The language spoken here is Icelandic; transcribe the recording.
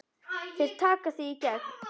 Þeir taka þig í gegn!